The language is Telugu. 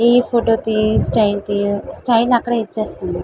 ఇ ఫోటో స్టైల్ అక్కడ ఎస్తునారు.